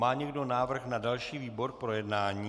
Má někdo návrh na další výbor k projednání?